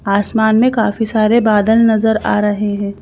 आसमान में काफी सारे बादल नजर आ रहे हैं।